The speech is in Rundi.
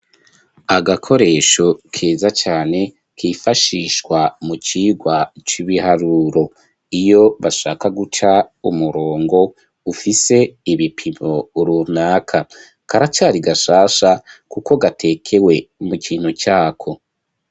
Agakoresho keza cane kifashishwa mu cigwa c'ibiharuro iyo bashaka guca umurongo ufise ibipimo runaka karacari gashasha kuko gatekewe mu kintu cako.